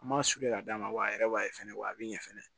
An m'a su kelen ka d'a ma wa a yɛrɛ b'a fɛnɛ wa a bi ɲɛ fɛnɛ